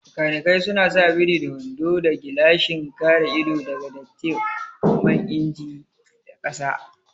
Makanikai suna sa biri da wando da gilashin kare ido daga datti man inji da kasa